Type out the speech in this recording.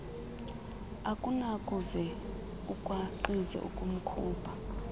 akunakuze ukwaqzi ukumkhupha